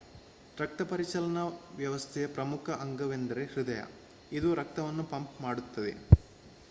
ರಕ್ತಪರಿಚಲನಾ ವ್ಯವಸ್ಥೆಯ ಪ್ರಮುಖ ಅಂಗವೆಂದರೆ ಹೃದಯ ಇದು ರಕ್ತವನ್ನು ಪಂಪ್ ಮಾಡುತ್ತದೆ